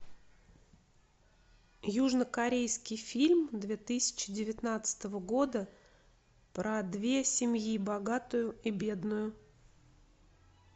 южно корейский фильм две тысячи девятнадцатого года про две семьи богатую и бедную